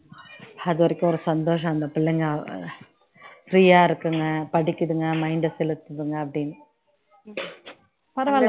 அது வரைக்கும் ஒரு சந்தோஷம் அந்த பிள்ளைங்க free யா இருக்குங்க படிக்குதுங்க mind அ செலுத்துதுங்க அப்படின்னு பரவாயில்ல